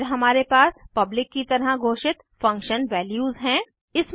फिर हमारे पास पब्लिक की तरह घोषित फंक्शन वैल्यूज़ हैं